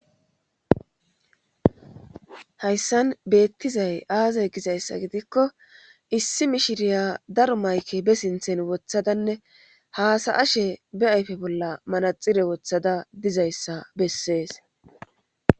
hayssan beettizay aazay gizayssa gidikko issi mishiriya daro mayke be sinthen wothadanne haasa ashe be ayfe bolla manaxire wothada dizayssa bessees